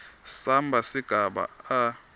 samba sigaba a